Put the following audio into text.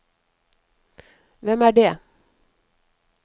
hvem er det